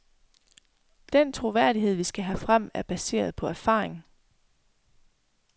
Den troværdighed, vi skal have frem, er baseret på erfaring.